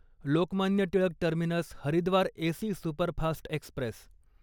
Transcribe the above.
Lokmanya Tilak terminus Haridwar AC superfast Express